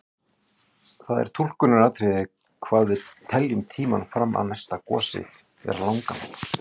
Það er túlkunaratriði hvað við teljum tímann fram að næsta gosi vera langan.